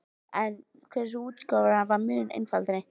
En hve þessi útgáfa var mun einfaldari!